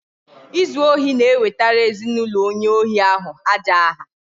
Izu ohi na-ewtara ezinụlọ onye ohi ahụ aja aha